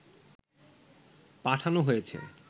পাঠানো হয়েছে